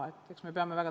Aitäh!